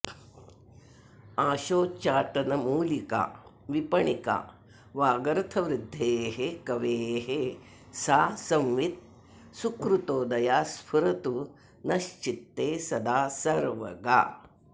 आशोच्चाटनमूलिका विपणिका वागर्थवृद्धेः कवेः सा संवित् सुकृतोदया स्फुरतु नश्चित्ते सदा सर्वगा